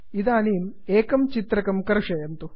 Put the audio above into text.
इदानीम् एकम् चित्रकं कर्षयन्तु